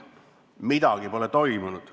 Midagi pole toimunud.